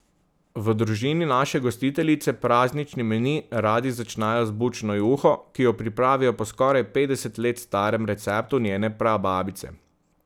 V družini naše gostiteljice praznični meni radi začnejo z bučno juho, ki jo pripravijo po skoraj petdeset let starem receptu njene prababice.